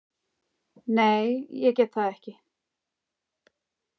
Nei, ég get það ekki.